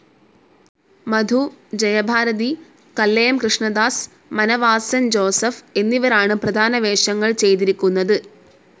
മധു, Jayabharathi, Kallayam Krishnadas, Manavasan Joseph എന്നിവരാണ് പ്രധാന വേഷങ്ങൾ ചെയ്തിരിക്കുന്നത്.